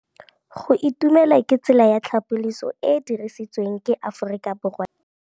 Go itumela ke tsela ya tlhapolisô e e dirisitsweng ke Aforika Borwa ya Bosetšhaba.